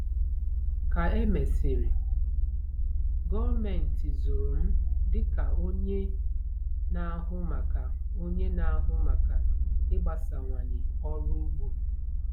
Ka e mesịrị, gọọmenti zụrụ m dị ka onye na-ahụ maka onye na-ahụ maka ịgbasawanye ọrụ ugbo.